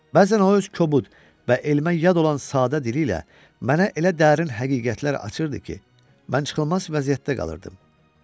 Bəzən o öz kobud və elmə yad olan sadə dili ilə mənə elə dərin həqiqətlər açırdı ki, mən çıxılmaz vəziyyətdə qalırdım.